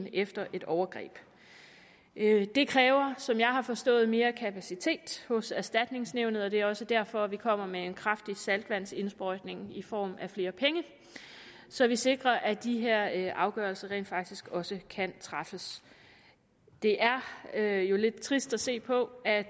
efter et overgreb det kræver som jeg har forstået mere kapacitet hos erstatningsnævnet og det er også derfor vi kommer med en kraftig saltvandsindsprøjtning i form af flere penge så vi sikrer at de her afgørelser rent faktisk også kan træffes det er jo lidt trist at se på at